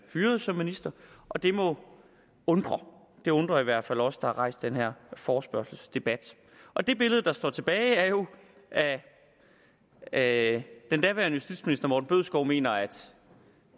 fyret som minister og det må undre det undrer i hvert fald os der har rejst den her forespørgselsdebat og det billede der står tilbage er jo at at den daværende justitsminister herre morten bødskov mener at